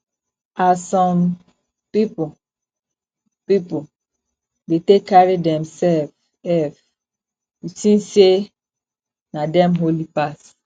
as some pipu pipu de take carry themsef ef you tink sey na dem holy pass